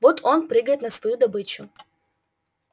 вот он прыгает на свою добычу